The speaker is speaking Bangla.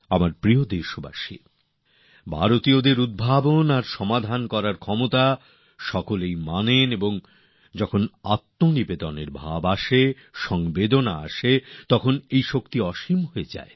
আমার প্রিয় দেশবাসী ভারতীয়দের ইনোভেশন বা উদ্ভাবন আর সলিউশন বা সমাধান সূত্র প্রদানের ক্ষমতা প্রত্যেকে স্বীকার করেন সহায়তা পেলে এই শক্তিই অসীম হয়ে যায়